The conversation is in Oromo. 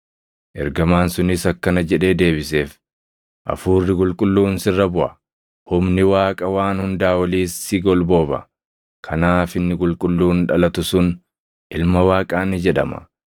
Ergamaan sunis akkana jedhee deebiseef; “Hafuurri Qulqulluun sirra buʼa; humni Waaqa Waan Hundaa Oliis si golbooba. Kanaaf inni qulqulluun dhalatu sun Ilma Waaqaa ni jedhama.